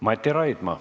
Mati Raidma.